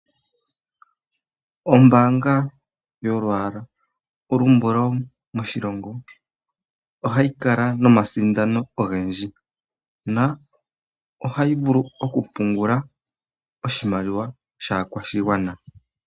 Ombaanga yolwaala olumbulau moshilongo, ohayi kala nomasindano ogendji. Na ohayi vulu okupungula, oshimaliwa shaakwashigwana.